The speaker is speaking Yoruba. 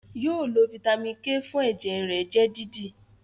yóò lo Vitamin k fún ẹjẹ rẹ jẹ dídì